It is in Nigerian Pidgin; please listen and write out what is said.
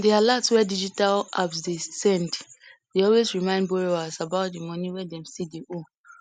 the alert wey digital loan apps dey send dey always remind borrowers about di money wey dem stlll dey owe